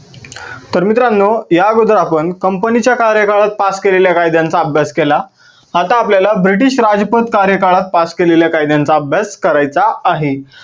तर मित्रांनो या आगोदर आपण company च्या कार्यकालात pass केलेल्या कायद्यांचा अभ्यास केला. आता आपल्याला ब्रिटीश राजपत काळात pass केलेल्या कायद्यांचा अभ्यास करायचा आहे.